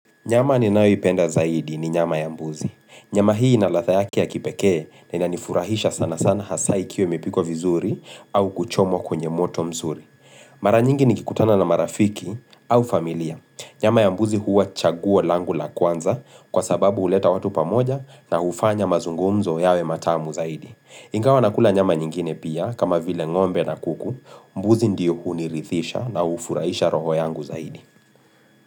Nyama ninayoipenda zaidi ni nyama ya mbuzi. Nyama hii inaladha yake ya kipekee na ina nifurahisha sana sana hasa ikiwa imepikwa vizuri au kuchomo kwenye moto mzuri. Mara nyingi nikikutana na marafiki au familia. Nyama ya mbuzi huwa chaguo langu la kwanza kwa sababu huleta watu pamoja na hufanya mazungumzo yawe matamu zaidi. Ingawa nakula nyama nyingine pia kama vile ngombe na kuku, mbuzi ndiyo hunirithisha na hufurahisha roho yangu zaidi.